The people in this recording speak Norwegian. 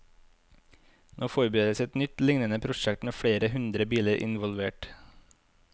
Nå forberedes et nytt, lignende prosjekt med flere hundre biler involvert.